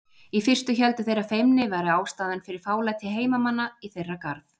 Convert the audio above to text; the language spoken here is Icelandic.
Í fyrstu héldu þeir að feimni væri ástæðan fyrir fálæti heimamanna í þeirra garð.